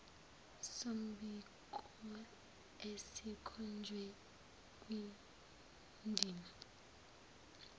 sombiko esikhonjwe kwindima